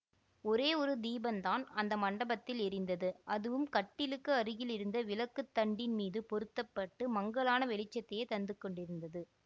ஒரே ஒரு தீபந்தான் அந்த மண்டபத்தில் எரிந்தது அதுவும் கட்டிலுக்கு அருகில் இருந்த விளக்குத் தண்டின் மீது பொருத்த பட்டு மங்கலான வெளிச்சத்தையே தந்து கொண்டிருந்தது